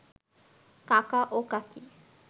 কাকা ও কাকী